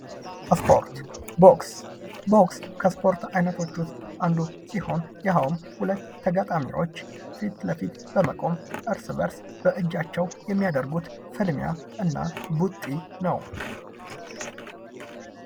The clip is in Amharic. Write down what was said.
ስፖርት፦ ቦክስ፦ ቦክስ ከስፖርት አይነቶች ውስጥ አንዱ ሲሆን ይኸውም ሁለት ተጋጣሚዎች ፊት ለፊት በመቆም እርስ በእርስ በእጃቸው የሚያደርጉት ፍልሚያ እና ቡጢ ነው ።